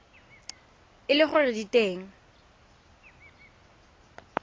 e le gore di teng